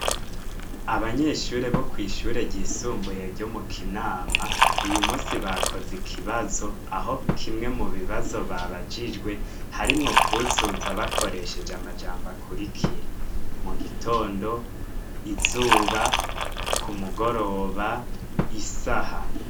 Abanyeshuri bo kwishuri ryisumbuye ryo mu Kinama uyu munsi bakozze ikibazo aho kimwe mu bibazo babajijwe harimwo kuzuza bakoresheje amajambo akurikira ;mu gitondo, izuba, ku mugoroba, isaha.